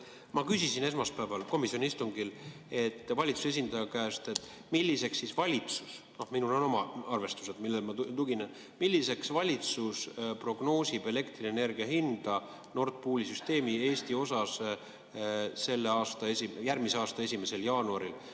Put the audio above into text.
Ma küsisin esmaspäeval komisjoni istungil valitsuse esindaja käest, milliseks valitsus – minul on oma arvestused, millele ma tuginen – prognoosib elektrienergia hinda Nord Pooli süsteemi Eesti osas järgmise aasta 1. jaanuaril.